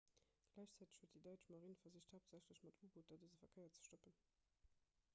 gläichzäiteg huet déi däitsch marine versicht haaptsächlech mat u-booter dëse verkéier ze stoppen